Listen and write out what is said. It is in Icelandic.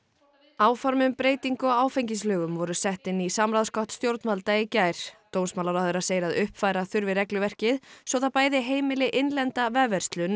áform um breytingu á áfengislögum voru sett inn í samráðsgátt stjórnvalda í gær dómsmálaráðherra segir að uppfæra þurfi regluverkið svo það bæði heimili innlenda vefverslun